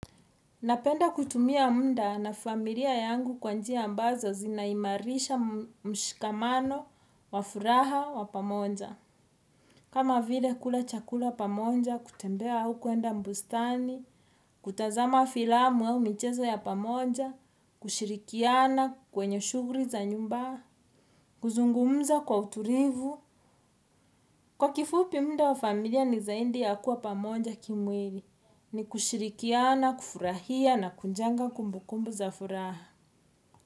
Napenda kuitumia muda na familia yangu kwa njia ambazo zinaimarisha mshikamano, wa furaha, wa pamoja. Kama vile kula chakula pamoja, kutembea au kuenda bustani, kutazama filamu au michezo ya pamoja, kushirikiana kwenye shughuli za nyumba, kuzungumza kwa utulivu. Kwa kifupi mda wa familia ni zaidi ya kuwa pamoja kimwili, ni kushirikia na kufurahia na kujenga kumbukumbu za furaha.